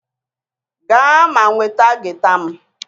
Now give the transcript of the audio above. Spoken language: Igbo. Gaa ma nweta gita m!